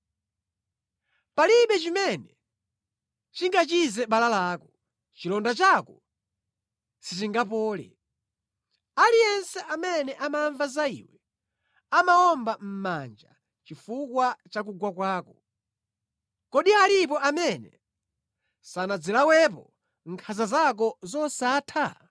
Palibe chimene chingachize bala lako; chilonda chako sichingapole. Aliyense amene amamva za iwe amawomba mʼmanja chifukwa cha kugwa kwako, kodi alipo amene sanazilawepo nkhanza zako zosatha?